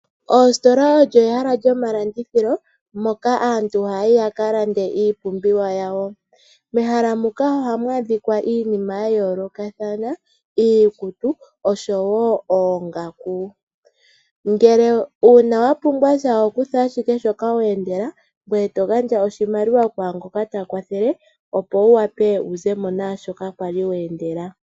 Ositola oyo omahala gomalandithilo moka aantu haya yi ya ka lande iipumbiwa yawo. Mehala muka ohamu adhika iinima ya yoolokathana ngaashi iikutu noongaku. Uuna owa pumbwa oho kutha ashike sho ka weendela, to gandja oshimaliwa kwaangoka ta kwathele, ngoye to zimo naashoka kwa li weendela.